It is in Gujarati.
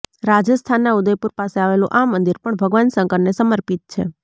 રાજસ્થાનના ઉદયપુર પાસે આવેલું આ મંદિર પણ ભગવાન શંકરને સમર્પિત છે